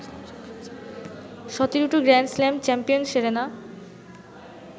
১৭টি grand slam champion Serena